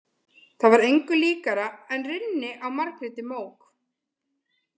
Það var engu líkara en rynni á Margréti mók.